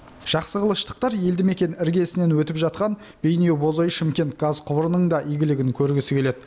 жақсықылыштықтар елді мекен іргесінен өтіп жатқан бейнеу бозой шымкент газ құбырының да игілігін көргісі келеді